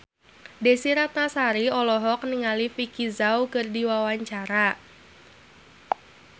Desy Ratnasari olohok ningali Vicki Zao keur diwawancara